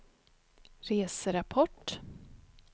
reserapport